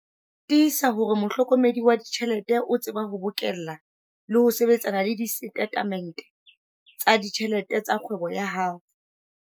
Tiisa hore mohlokomedi wa ditjhelete o tseba ho bokella le ho sebetsana le disetatemente tsa ditjhelete tsa kgwebo ya hao.